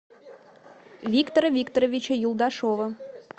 виктора викторовича юлдашева